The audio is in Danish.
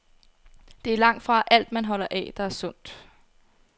Det er langtfra alt, man holder af, der er sundt.